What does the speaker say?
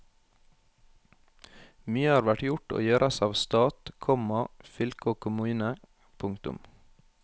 Mye har vært gjort og gjøres av stat, komma fylke og kommune. punktum